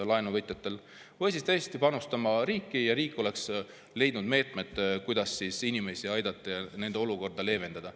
Või siis oleks tulnud tõesti panustada riigile, riik oleks leidnud meetmed, kuidas inimesi aidata ja nende olukorda leevendada.